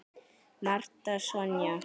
Marta Sonja.